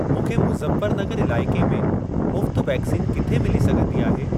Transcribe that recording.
मूंखे मुज़फ्फरनगर इलाइके में मुफ़्त वैक्सीन किथे मिली सघंदी आहे?